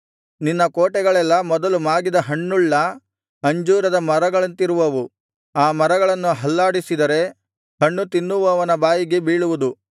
ನಿನ್ನ ಕೋಟೆಗಳೆಲ್ಲಾ ಮೊದಲು ಮಾಗಿದ ಹಣ್ಣುಳ್ಳ ಅಂಜೂರದ ಮರಗಳಂತಿರುವವು ಆ ಮರಗಳನ್ನು ಅಲ್ಲಾಡಿಸಿದರೆ ಹಣ್ಣು ತಿನ್ನುವವನ ಬಾಯಿಗೆ ಬೀಳುವುದು